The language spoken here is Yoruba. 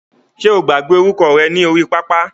Ṣe o gbàgbé orúkọ rẹ ní orí pápá?